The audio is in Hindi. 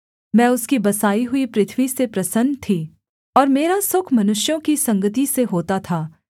मैं उसकी बसाई हुई पृथ्वी से प्रसन्न थी और मेरा सुख मनुष्यों की संगति से होता था